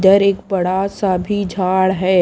इधर एक बड़ा सा भी झाड़ है।